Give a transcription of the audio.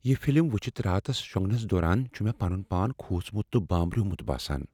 یہِ فِلم وُچھِتھ راتس شونگنس دوران چھُ مےٚ پنُن پان كھوژمُت تہٕ بامبریومُت باسان ۔